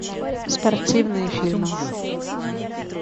спортивные фильмы